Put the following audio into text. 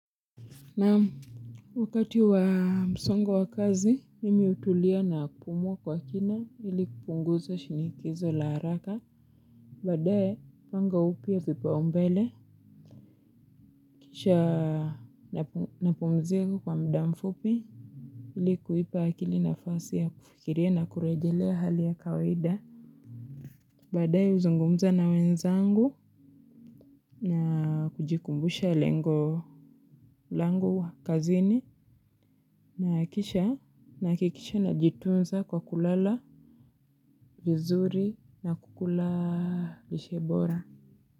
Nam wakati wa msongo wa kazi, mimi utulia na kupumuwa kwa kina ili kupunguza shinikizo la haraka. Badae, panga upia vipa umbele, kisha napumzika kwa mdamfupi, ili kuipa akili na fasi ya kufikiria na kurejelea hali ya kawaida. Badae uzungumza na wenzangu na kujikumbusha lengo langu kazini na kisha nakikisha najitunza kwa kulala vizuri na kukula lishebora.